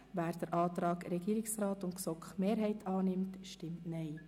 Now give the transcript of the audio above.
Wer den Antrag Regierungsrat und GSoK-Mehrheit annimmt, stimmt Nein.